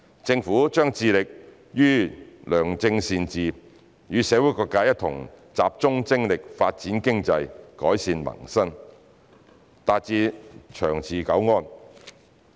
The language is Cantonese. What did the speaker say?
政府將致力於良政善治，與社會各界一同集中精力發展經濟、改善民生，達致長治久安。